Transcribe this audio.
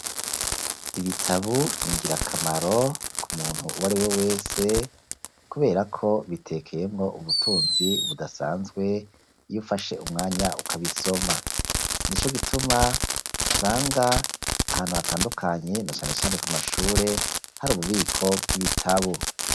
Ibitabu ni ngirakamaro ku muntu uwariwe wese kuberako bitekeye ngo ubutunzi budasanzwe iyo ufashe umwanya ukabisoma. Nico gituma usanga ahantu hatandukanye na cane cane ku mashure hari ububiko bw'ibitabu.